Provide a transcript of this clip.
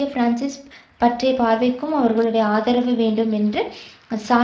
பார்வைக்கும் அவர்களுடைய ஆதரவு வேண்டும் என்று சார்க்கோசி கேட்டு கொண்டபோது